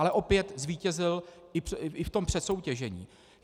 Ale opět zvítězil i v tom přesoutěžení.